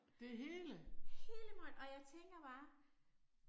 Det hele?